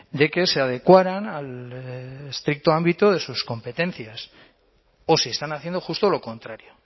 de que se adecuaran al estricto ámbito de sus competencias o si están haciendo justo lo contrario